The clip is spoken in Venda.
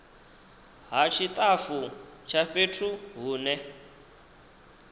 ha tshitafu tsha fhethu hune